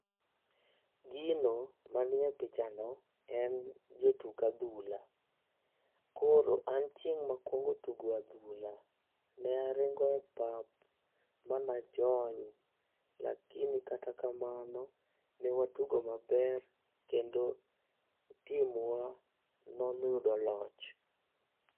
Gino ma ni e picha no jo tuk adhula koro an chieng makwongo tugo adhula ne aringo e pap ma ne a jony lakini kata kamano ne wa tugo ma ber kendo tim wa ne oyudo loch